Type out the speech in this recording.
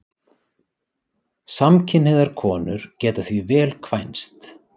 Samkynhneigðar konur geta því vel kvænst.